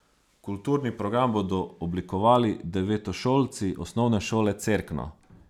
Kulturni program bodo oblikovali devetošolci Osnovne šole Cerkno.